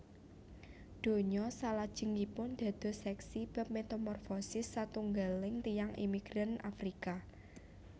Donya salajengipun dados seksi bab metamorfosis satunggaling tiyang imigran Afrika